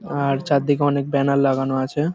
আ-আ-র চারদিকে অনেক ব্যানার লাগানো আছে ।